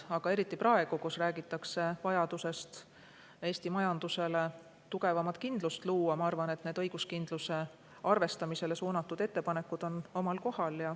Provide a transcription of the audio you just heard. Aga eriti praegu, kui räägitakse vajadusest luua Eesti majanduses tugevamat kindlust, ma arvan, et need õiguskindluse arvestamisele suunatud ettepanekud on omal kohal.